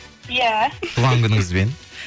иә туған күніңізбен